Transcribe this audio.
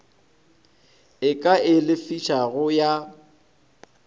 e ka e lefišago ya